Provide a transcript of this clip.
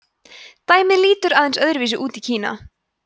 dæmið lítur aðeins öðru vísi út í kína